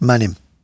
Mənim.